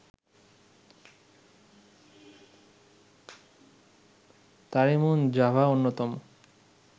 তারিমুন Java অন্যতম